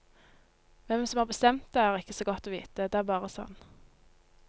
Hvem som har bestemt det er ikke så godt å vite, det er bare sånn.